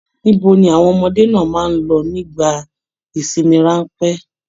Ibo ni àwọn ọmọdé náà máa n lọ nígbà ìsinmi ranpẹ̀?